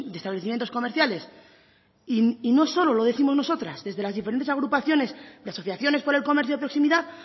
establecimientos comerciales y no solo lo décimos nosotras desde las diferentes agrupaciones de asociaciones por el comercio de proximidad